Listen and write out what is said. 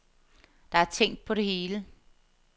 Der er tænkt på det hele.